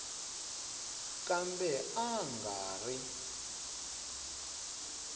kambe a a nga ri